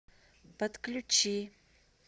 подключи